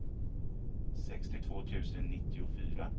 sextiotvå tusen nittiofyra